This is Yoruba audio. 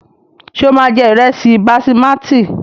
Ṣé o máa jẹ ìrẹsì basimátì?